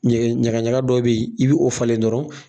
Ɲagaɲaga dɔw be yen i bi o falen dɔrɔn